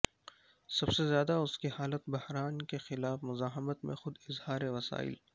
سب سے زیادہ اس کی حالت بحران کے خلاف مزاحمت میں خود اظہار وسائل